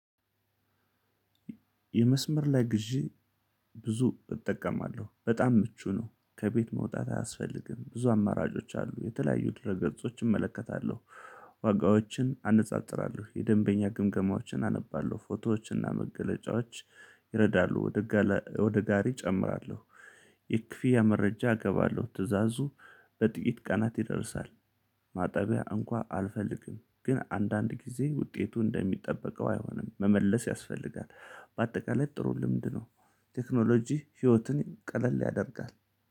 የመስመር ላይ ግዢ። ብዙ እጠቀማለሁ በጣም ምቹ ነው ከቤት መውጣት አያስፈልግም ብዙ አማራጮች አሉ የተለያዩ ድረ ገጾችን እመለከታለሁ። ዋጋዎችን አነጻጽራለሁ የደንበኛ ግምገማዎችን አነባለሁ ፎቶዎችና መገለጫዎች። ይረዳሉ ወደ ወደ ጋሪ እጨምራለሁ። የክፍያ መረጃ አገባለሁ ትእዛዙ በጥቂት ቀናት ይደርሳል። ማጠቢያ እንኳን አልፈልግም ግን አንዳንድ ጊዜ ውጤቱ እንደሚጠበቀው አይሆንም መመለስ ያስፈልጋል። በአጠቃላይ ጥሩ ልምድ ነው። ቴክኖሎጂ ህይወትን ቀለል ያደርጋል